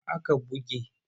Wa aka buge ne?